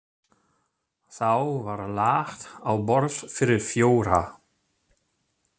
Þá var lagt á borð fyrir fjóra.